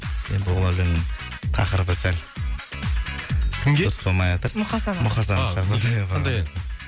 енді ол өлең тақырыбы сәл кімге дұрыс болмайатыр мұқасанға мұқасанға жаздым қандай ән